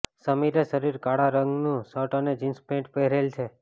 સમીરે શરીરે કાળા રંગનું શર્ટ અને જિન્સ પેન્ટ પહેરેલ છે